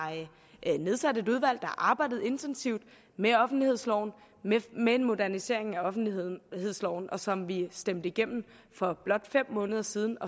nedsat et udvalg der arbejdet intensivt med offentlighedsloven med en modernisering af offentlighedsloven som vi stemte igennem for blot fem måneder siden